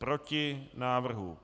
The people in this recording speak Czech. Proti návrhu.